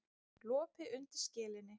Lopi undir skelinni.